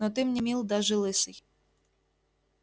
но ты мне мил даже лысый